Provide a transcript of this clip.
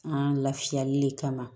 An lafiyali de kama